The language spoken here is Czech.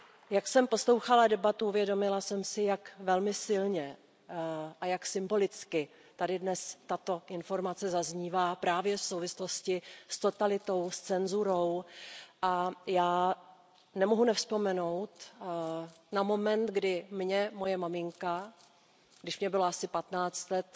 Jak jsem poslouchala debatu, uvědomila jsem si, jak velmi silně a jak symbolicky tady dnes tato informace zaznívá právě v souvislosti s totalitou, s cenzurou, a já nemohu nevzpomenout na moment, kdy mně moje maminka, když mi bylo asi 15 let,